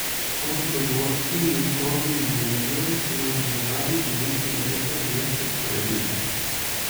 To so dogodki in naslovi iz medijev, ki nas v zadnji polovici leta zvesto spremljajo.